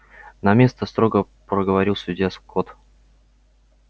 на место строго проговорил судья скотт